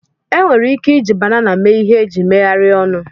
Enwere ike iji banana mee ihe eji megharịa ọnụ